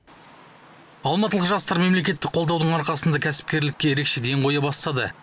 алматылық жастар мемлекеттік қолдаудың арқасында кәсіпкерлікке ерекше ден қоя бастады